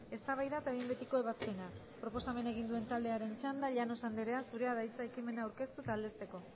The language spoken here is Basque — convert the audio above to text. eztabaida eta behin betiko ebazpena proposamena egin duen taldearen txanda llanos anderea zurea da hitza ekimena aurkeztu eta aldezteko